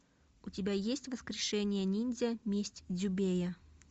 у тебя есть воскрешение ниндзя месть дзюбея